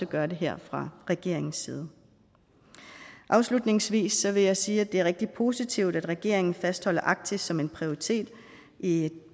gør det her fra regeringens side afslutningsvis vil jeg sige at det er rigtig positivt at regeringen fastholder arktis som en prioritet i